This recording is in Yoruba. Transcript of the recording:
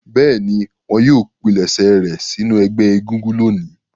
Bẹ́ẹ̀ni, wọn yóò pilẹ̀sẹ̀ rẹ̀ sínú ẹgbẹ́ egúngún lónìí.